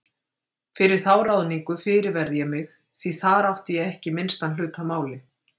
Fyrir þá ráðningu fyrirverð ég mig því þar átti ég ekki minnstan hlut að máli.